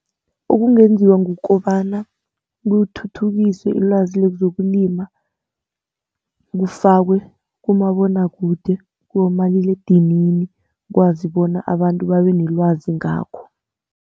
Okungenziwa kukobana kuthuthukiswe ilwazi lezokulima, kufakwe kumabonwakude, kibomaliledinini ukwazi bona abantu babe nelwazi ngakho.